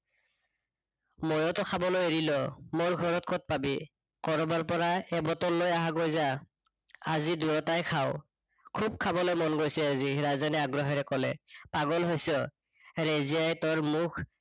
মইওটো খাবলৈ এৰিলো। মোৰ ঘৰত কত পাবি কৰবাৰ পৰা এবটল লৈ আহ গৈ যা। আজি দুয়োটাই খাঁও। খুব খাবলৈ মন গৈছে আজি, ৰাজেনে আগ্ৰহেৰে কলে। পাগল হৈছ ৰেজিয়াই তোৰ মুখ